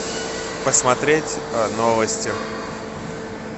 посмотреть новости